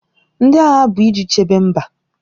Ndị agha bụ iji chebe mba.